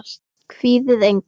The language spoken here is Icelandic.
Kvíðið engu!